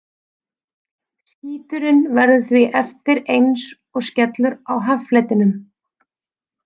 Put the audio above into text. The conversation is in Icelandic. Skíturinn verður því eftir eins og skellur á haffletinum.